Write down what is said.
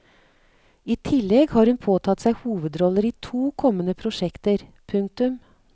I tillegg har hun påtatt seg hovedroller i to kommende prosjekter. punktum